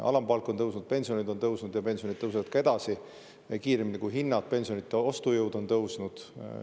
Alampalk on tõusnud, pensionid on tõusnud ja pensionid tõusevad ka edasi, tõusevad kiiremini kui hinnad, pensionide ostujõud on tõusnud.